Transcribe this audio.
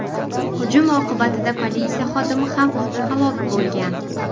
Hujum oqibatida politsiya xodimi ham halok bo‘lgan.